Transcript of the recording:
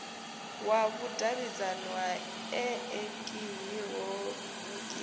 wa vhudavhidzano ha eekihironiki na